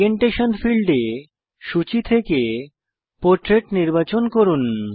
orientation ফীল্ডে সূচী থেকে পোর্ট্রেট নির্বাচন করুন